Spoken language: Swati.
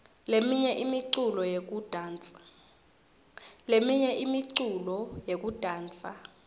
leminye imiculo yekudansa